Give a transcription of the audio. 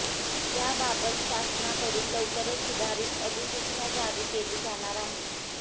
याबाबत शासनाकडून लवकरच सुधारित अधिसूचना जारी केली जाणार आहे